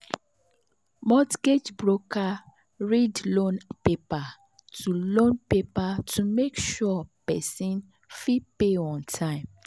mortgage broker read loan paper to loan paper to make sure person fit pay am on time.